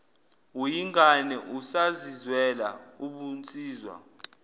uyingane usazizwela ubunsizwa